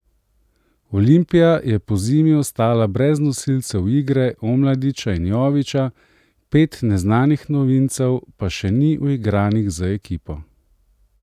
Olimpija je pozimi ostala brez nosilcev igre Omladiča in Jovića, pet neznanih novincev pa še ni uigranih z ekipo.